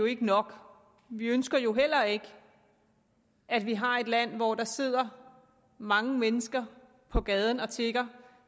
ikke nok vi ønsker jo heller ikke at vi har et land hvor der sidder mange mennesker på gaden og tigger